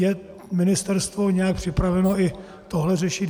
Je ministerstvo nějak připraveno i tohle řešit?